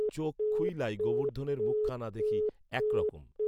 চোখ খুইলাই গোবর্ধনের মুখখানা দেখি একরকম